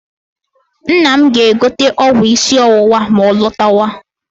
Nna m ga-egote ọgwụ isi ọwụwa ma ọ lọtawa.